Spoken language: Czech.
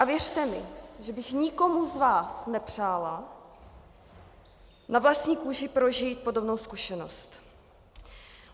A věřte mi, že bych nikomu z vás nepřála na vlastní kůži prožít podobnou zkušenost.